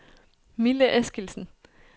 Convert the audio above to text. Mille Eskildsen